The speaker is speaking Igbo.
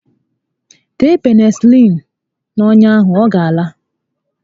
Tee Penịsịlịịnu n'ọnya ahụ, ọ gá ala